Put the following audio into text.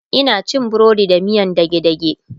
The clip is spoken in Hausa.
Ina cin burodi da miyan dage dage